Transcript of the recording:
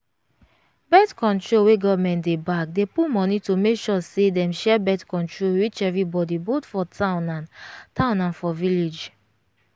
birth-control wey government dey back dey put money to make sure say dem share birth-control reach everybody both for town and town and for village